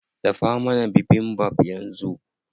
Dafa mana bibimbap yanzu.